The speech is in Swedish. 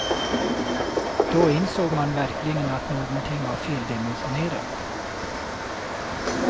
Då insåg man verkligen att någonting var feldimensionerat.